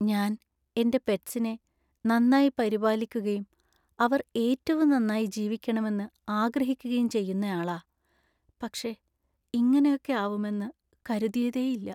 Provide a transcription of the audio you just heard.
ഞാൻ എന്‍റെ പെറ്റ്സിനെ നന്നായി പരിപാലിക്കുകയും അവർ ഏറ്റവും നന്നായി ജീവിക്കണമെന്ന് ആഗ്രഹിക്കുകയും ചെയ്യുന്നയാളാ. പക്ഷേ ഇങ്ങനെയൊക്കെ ആവുമെന്ന് കരുതിയതേയില്ല.